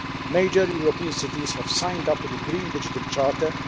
Major European cities have signed up to the Green Digital Charter.